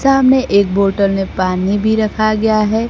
सामने एक बोतल में पानी भी रखा गया हैं।